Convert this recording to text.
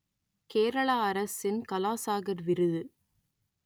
கேரளா அரசின் கலா சாகர் விருது